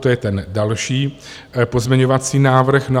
To je ten další pozměňovací návrh.